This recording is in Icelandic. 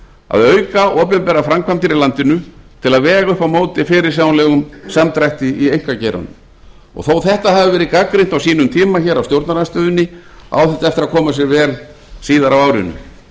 að auka opinberar framkvæmdir í landinu til að vega upp á móti fyrirsjáanlegum samdrætti í einkageiranum þó að þetta hafi verið gagnrýnt hér á sínum tíma af stjórnarandstöðunni á þetta eftir að koma sér vel síðar á árinu